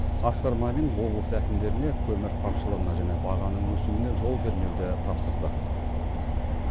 асқар мамин облыс әкімдеріне көмір тапшылығына және бағаның өсуіне жол бермеуді тапсырды